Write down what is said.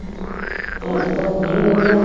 ਹੁਣ ਤਾਂ ਧੁੱਪ ਨਹੀਂ ਆਉਂਦੀ